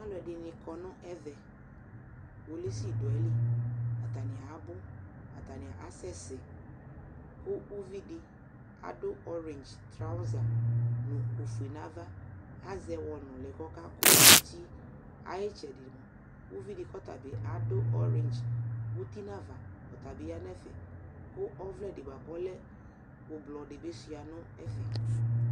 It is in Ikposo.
Alʋɛdɩnɩ kɔ nʋ ɛvɛ Kpolisi dʋ ayili, atanɩ abʋ, atanɩ asɛsɛ kʋ uvi dɩ adʋ ɔrɛndz traɔza nʋ ofue nʋ ava azɛ ɛwɔ nʋlɩ kʋ ɔkakʋ uti Ayʋ ɩtsɛdɩ mʋa, uvi dɩ kʋ ɔta bɩ adʋ ɔrɛndz uti nʋ ava, ɔta bɩ ya nʋ ɛfɛ kʋ ɔvlɛ dɩ bʋa kʋ ɔlɛ ʋblɔ dɩ bɩ sʋɩa nʋ ɛfɛ